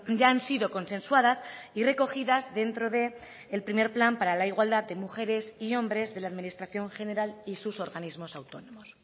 ya han sido consensuadas y recogidas dentro del primer plan para la igualdad de mujeres y hombres de la administración general y sus organismos autónomos